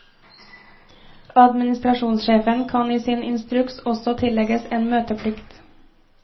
Administrasjonssjefen kan i sin instruks også tillegges en møteplikt.